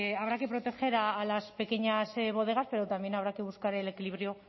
habrá que proteger a las pequeñas bodegas pero también habrá que buscar el equilibrio